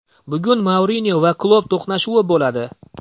Bugun Mourinyo va Klopp to‘qnashuvi bo‘ladi.